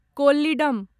Kollidam